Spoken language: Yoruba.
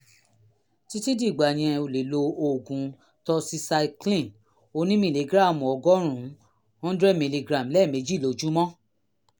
títí dìgbà yẹn o lè lo oògùn doxycycline onímìlígíráàmù ọgọ́rùn-ún one hundred miligram lẹ́ẹ̀mejì lójúmọ́